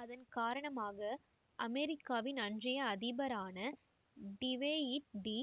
அதன்காரணமாக அமெரிக்காவின் அன்றைய அதிபரான டிவெய்ட் டி